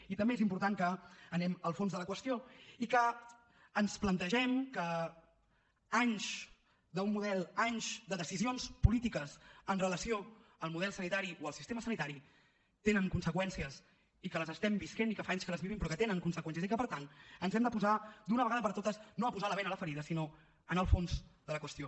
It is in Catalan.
i també és important que anem al fons de la qüestió i que ens plantegem que anys d’un model anys de decisions polítiques amb relació al model sanitari o al sistema sanitari tenen conseqüències i que les estem vivint i que fa anys que les vivim però que tenen conseqüències i que per tant ens hem de posar d’una vegada per totes no a posar la bena a la ferida sinó a anar al fons de la qüestió